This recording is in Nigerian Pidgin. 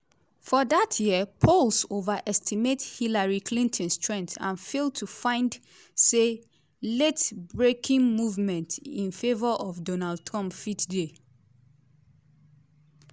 for dat year polls overestimate hillary clinton strength and fail to find say late-breaking movement in favour of donald trump fit dey.